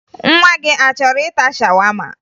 Nwa gị a chọrọ ịta shawama?